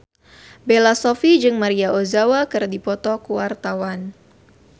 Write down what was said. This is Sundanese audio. Bella Shofie jeung Maria Ozawa keur dipoto ku wartawan